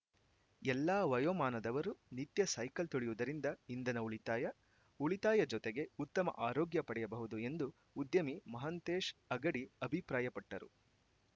ಎಲ್ಲಾ ವಯೋಮಾನದವರು ನಿತ್ಯ ಸೈಕಲ್‌ ತುಳಿಯುವುದರಿಂದ ಇಂಧನ ಉಳಿತಾಯ ಉಳಿತಾಯ ಜೊತೆಗೆ ಉತ್ತಮ ಆರೋಗ್ಯ ಪಡೆಯಬಹುದು ಎಂದು ಉದ್ಯಮಿ ಮಹಾಂತೇಶ ಅಗಡಿ ಅಭಿಪ್ರಾಯಪಟ್ಟರು